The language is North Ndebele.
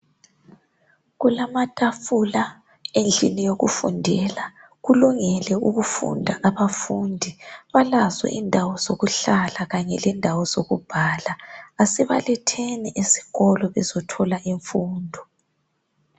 Kulamatafula endlini yokufundela. Kulungile ukufunda. Abafundi balazo indawo zokuhlala kanye lezokubhala. Asibaletheni esikolo bezothola imfundo.